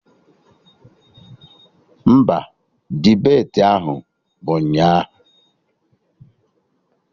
Mba, debeti ahụ bụ ụnyaahụ